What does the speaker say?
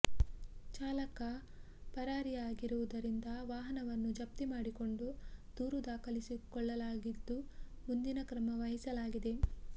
ಚಾಲಕ ಪರಾರಿಯಾಗಿರುವುದರಿಂದ ವಾಹವನ್ನು ಜಪ್ತಿ ಮಾಡಿಕೊಂಡು ದೂರು ದಾಖಲಿಸಿಕೊಳ್ಳ ಲಾಗಿದ್ದು ಮುಂದಿನ ಕ್ರಮ ವಹಿಸಲಾಗಿದೆ